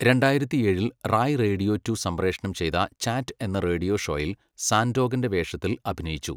രണ്ടായിരത്തിയേഴിൽ 'Rai radio two' സംപ്രേഷണം ചെയ്ത 'chat' എന്ന റേഡിയോ ഷോയിൽ സാൻഡോകൻ്റെ വേഷത്തിൽ അഭിനയിച്ചു.